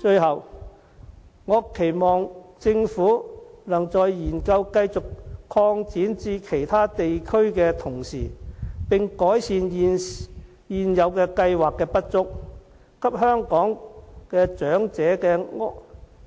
最後，我期望政府在研究繼續擴展至其他地區的同時，能改善現有計劃的不足，給香港長者的